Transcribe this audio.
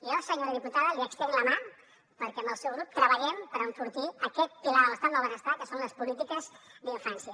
jo senyora diputada li estenc la mà perquè amb el seu grup treballem per enfortir aquest pilar de l’estat del benestar que són les polítiques d’infància